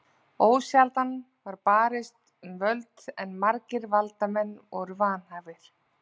Ósjaldan var barist um völdin en margir valdamanna voru vanhæfir.